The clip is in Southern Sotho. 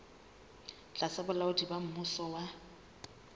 tlasa bolaodi ba mmuso wa